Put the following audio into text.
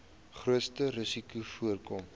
grootste risikos voorkom